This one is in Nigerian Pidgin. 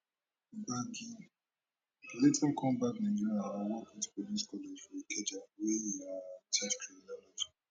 gbagi later come back nigeria and work wit police college for ikeja wia e um teach criminology